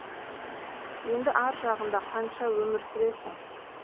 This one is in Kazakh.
енді ар жағында қанша өмір сүресің